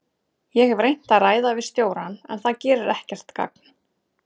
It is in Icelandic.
Ég hef reynt að ræða við stjórann en það gerir ekkert gagn.